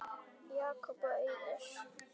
Jakob og Auður.